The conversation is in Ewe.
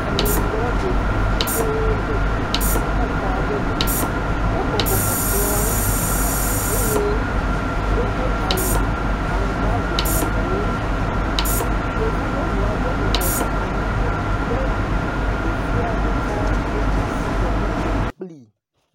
Ameyibɔ ɖevi vi ɖe le sukuxɔ aɖe me. Wobɔbɔ nɔ kplɔ nu eye wodo awɔ aŋgba vovovowo. Yevunyɔnu aɖe bɔbɔ nɔ anyi le ɖevia ɖeka ɖe asi le nu kom kplii.